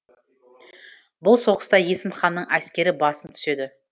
бұл соғыста есім ханның әскері басым түседі